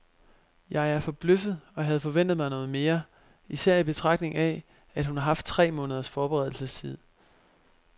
Jeg er forbløffet og havde forventet mig noget mere, især i betragtning af, at hun har haft tre måneders forberedelsestid.